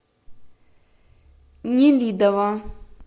нелидово